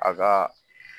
A ka